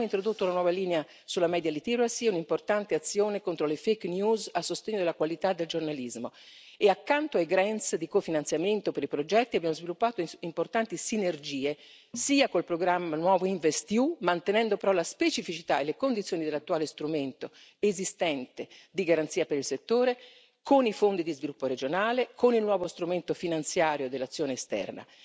Abbiamo introdotto una nuova linea sull'alfabetizzazione mediatica, un'importante azione contro le fake news a sostegno della qualità del giornalismo e, accanto alle sovvenzioni di cofinanziamento per i progetti, abbiamo sviluppato importanti sinergie, sia con il nuovo programma InvestEU, mantenendo però la specificità e le condizioni dell'attuale strumento esistente di garanzia per il settore, sia con i fondi di sviluppo regionale e con il nuovo strumento finanziario dell'azione esterna.